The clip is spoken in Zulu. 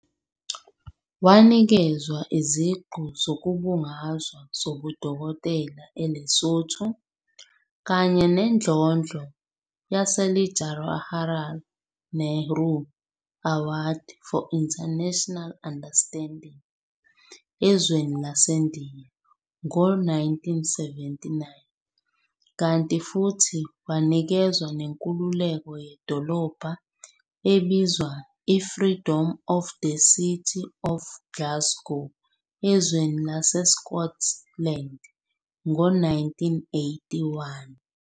Wanikezwa iziqu zokubungazwa zobudokotela eLesotho, kanye nendlondlo ye-LeJawaharlal Nehru Award for International Understanding ezweni laseNdiya ngo-1979, kanti futhi wanikezwa nenkululeko yedolobha ebizwa i-Freedom of the City of Glasgow, ezweni lase-Scotland ngo 1981.